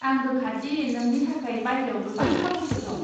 आं रोखा दि नोंनि थाखाय बायह्रायाव गोबां खाबुफोर दं।